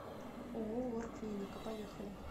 ооо лор клиника поехали